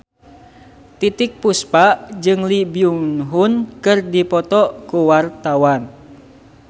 Titiek Puspa jeung Lee Byung Hun keur dipoto ku wartawan